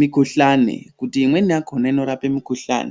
mikuhlani ngekuti imweni yakona inorapa mikuhlani.